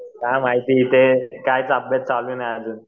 काय माहिती काहीच अभ्यास चालू नाही अजून.